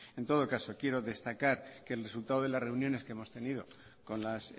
en todo caso quiero destacar que el resultado de las reuniones que hemos tenido con las